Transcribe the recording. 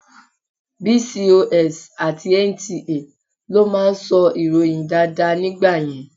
Bcos àti NTA ló máa ń sọ ìròyìn dáadáa nígbà yẹn.